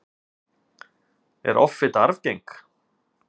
er offita arfgeng